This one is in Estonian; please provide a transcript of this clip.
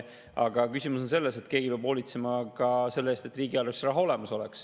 Aga küsimus on selles, et keegi peab hoolitsema ka selle eest, et riigieelarves oleks raha olemas.